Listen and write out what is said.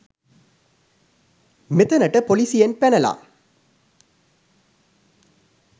මෙතනට පොලිසියෙන් පැනල